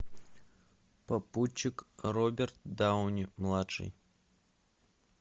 попутчик роберт дауни младший